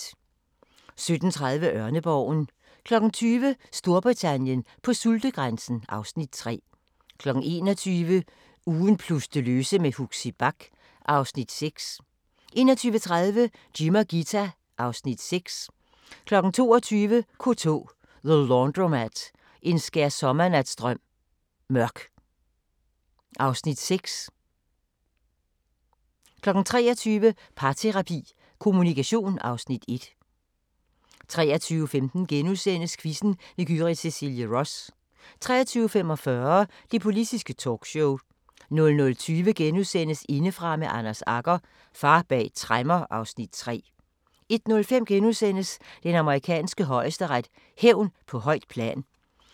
17:30: Ørneborgen 20:00: Storbritannien på sultegrænsen (Afs. 3) 21:00: Ugen plus det løse med Huxi Bach (Afs. 6) 21:30: Jim og Ghita (Afs. 6) 22:00: K2 – The Laundromat – En skærsommernatsdrøm – Mørk (Afs. 6) 23:00: Parterapi – Kommunikation (Afs. 1) 23:15: Quizzen med Gyrith Cecilie Ross * 23:45: Det Politiske Talkshow 00:20: Indefra med Anders Agger – Far bag tremmer (Afs. 3)* 01:05: Den amerikanske højesteret: Hævn på højt plan *